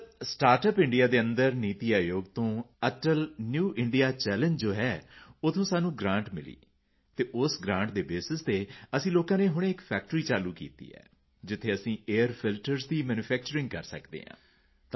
sir startup India ਦੇ ਅੰਦਰ ਨੀਤੀ ਆਯੋਗ ਤੋਂ ਅਟਲ ਨਿਊ ਇੰਡੀਆ ਚੱਲੇਂਗੇ ਜੋ ਹੈ ਉੱਥੋਂ ਸਾਨੂੰ ਗ੍ਰਾਂਟ ਮਿਲੀ ਅਤੇ ਉਸ ਗ੍ਰਾਂਟ ਦੇ ਬੇਸਿਸ ਤੇ ਅਸੀਂ ਲੋਕਾਂ ਨੇ ਹੁਣੇ ਫੈਕਟਰੀ ਚਾਲੂ ਕੀਤੀ ਜਿੱਥੇ ਅਸੀਂ ਏਆਈਆਰ ਫਿਲਟਰਜ਼ ਦੀ ਮੈਨੂਫੈਕਚਰਿੰਗ ਕਰ ਸਕਦੇ ਹਾਂ